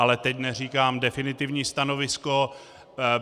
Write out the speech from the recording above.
Ale teď neříkám definitivní stanovisko.